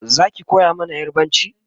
Zaki koya mana yarbanci?